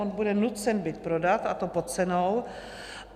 On bude nucen byt prodat, a to pod cenou.